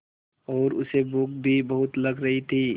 और उसे भूख भी बहुत लग रही थी